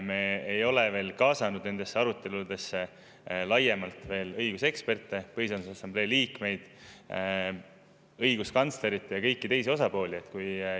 Me ei ole veel kaasanud nendesse aruteludesse laiemalt õiguseksperte, Põhiseaduse Assamblee liikmeid, õiguskantslerit ja kõiki teisi osapooli.